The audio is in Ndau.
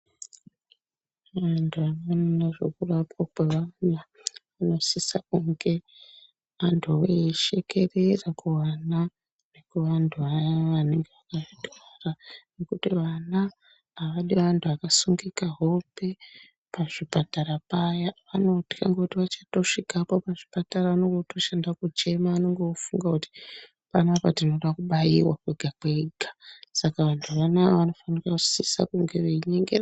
Vantu vanoona ngezvekurapwa kwevantu vanosise kunge antuwo aiyishekerera kuana nekuantu anenge auya eyirwara ngekuti ana aadi antu akasungika hope pachipatara paya, vanotya ngekuti otosvikapo pachipatara anenge otoshande kuchema kwega kwega anenge otofunge kuti tinode kubatiwa kwega kwega. Saka antu vanava vanosise kunge veinyengerera.